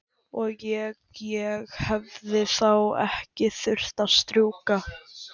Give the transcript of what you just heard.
Og. ég. ég hefði þá ekki þurft að strjúka?